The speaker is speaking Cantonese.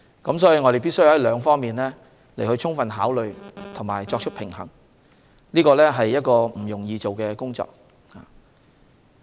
因此，我們必須就兩方面作出充分考慮及作出平衡，而這項工作並不容易。